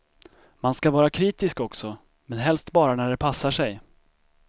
Man ska vara kritisk också, men helst bara när det passar sig.